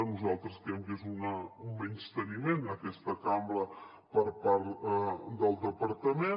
nosaltres creiem que és un menysteniment a aquesta cambra per part del departament